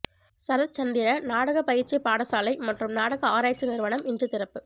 சரத்சந்திர நாடக பயிற்சிப் பாடசாலை மற்றும் நாடக ஆராய்ச்சி நிறுவனம் இன்று திறப்பு